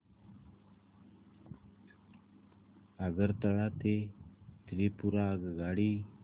आगरतळा ते त्रिपुरा आगगाडी